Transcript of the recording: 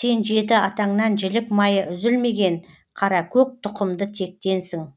сен жеті атаңнан жілік майы үзілмеген қаракөк тұқымды тектенсің